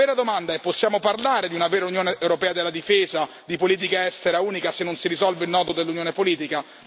La vera domanda è possiamo parlare di una vera Unione europea della difesa e di politica estera unica se non si risolve il nodo dell'unione politica?